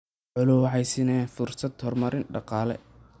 Xooluhu waxay siinayaan fursado horumar dhaqaale.